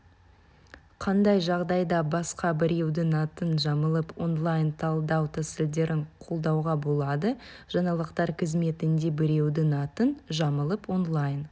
қандай жағдайда басқа біреудің атын жамылып онлайн талдау тәсілдерін қолдануға болады жаңалықтар қызметінде біреудің атын жамылып онлайн